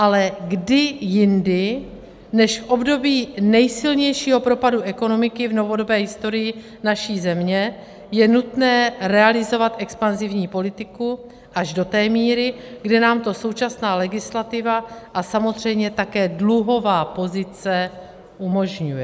Ale kdy jindy než v období nejsilnějšího propadu ekonomiky v novodobé historii naší země je nutné realizovat expanzivní politiku až do té míry, kde nám to současná legislativa a samozřejmě také dluhová pozice umožňuje?